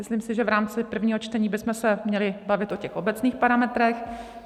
Myslím si, že v rámci prvního čtení bychom se měli bavit o těch obecných parametrech.